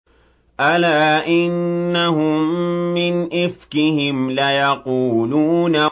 أَلَا إِنَّهُم مِّنْ إِفْكِهِمْ لَيَقُولُونَ